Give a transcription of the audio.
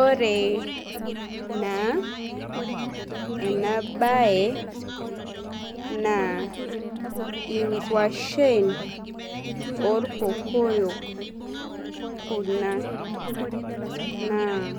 Ore naa enabae na ingwashen orkokoyo kuna naa